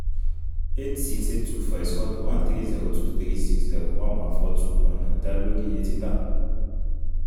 eight siọ eight two four s egbual to one three zero two three six zero one one four two ọna da lori iye tita